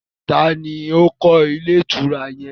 Ta ni ó kọ́ ilé ìtura yẹn?